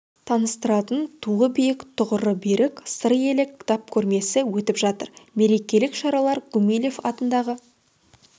таныстыратын туы биік тұғыры берік сыр елі кітап көрмесі өтіп жатыр мерекелік шаралар гумилев атындағы